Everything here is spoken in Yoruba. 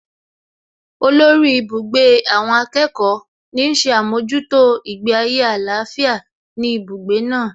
Olórí ibùgbé àwọn akẹ́kọ̀ọ́ ní ń ṣe àmójútó ìgbé ayé àlàáfíà ní ibùgbé náà